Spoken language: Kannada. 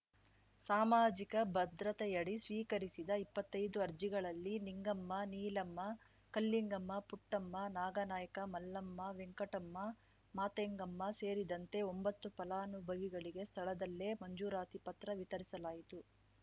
ಸಾಮಾಜಿಕ ಭದ್ರತೆಯಡಿ ಸ್ವೀಕರಿಸಿದ ಇಪ್ಪತ್ತೈದು ಅರ್ಜಿಗಳಲ್ಲಿ ನಿಂಗಮ್ಮ ನೀಲಮ್ಮ ಕಲ್ಲಿಂಗಮ್ಮ ಪುಟ್ಟಮ್ಮ ನಾಗಾನಾಯ್ಕ ಮಲ್ಲಮ್ಮ ವೆಂಕಟಮ್ಮ ಮಾತೆಂಗೆಮ್ಮ ಸೇರಿದಂತೆ ಒಂಬತ್ತು ಫಲಾನುಭವಿಗಳಿಗೆ ಸ್ಥಳದಲ್ಲೇ ಮಂಜೂರಾತಿ ಪತ್ರ ವಿತರಿಸಲಾಯಿತು